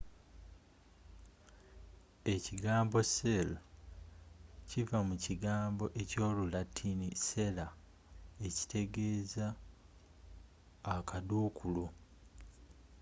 ekigambo cell kiva mu kigambo ekyo lulatini cella ekitegeeza akadduukulu